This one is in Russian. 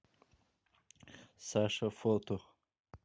саша фото